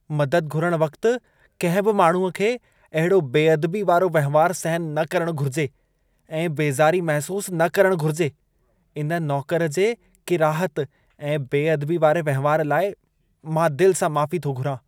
मददु घुरण वक़्त कंहिं बि माण्हूअ खे अहिड़ो बेअदबी वारो वहिंवारु सहन न करणु घुर्जे ऐं बेज़ारी महसूस न करणु घुर्जे। इन नौकर जे किराहत ऐं बेअदबी वारे वहिंवारु लाइ मां दिल सां माफ़ी थो घुरां।